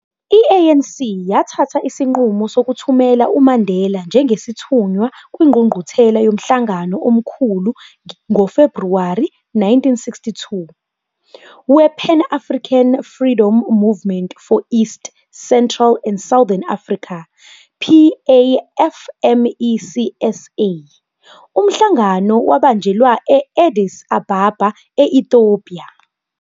I-ANC yathatha isinqumo sokuthumela uMandela njengesithunywa kwinqungquthela yomhlangano omkhulukazi ngo-Februwari 1962, we-Pan-African Freedom Movement for East, Central and Southern Africa, PAFMECSA, umhlangano wabanjelwa e-Addis Ababa, e-Ethiopia.